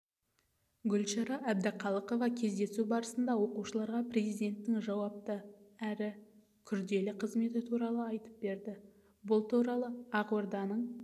гүлшара әбдіқалықова кездесу барысында оқушыларға президенттің жауапты әрі күрделі қызметі туралы айтып берді бұл туралы ақорданың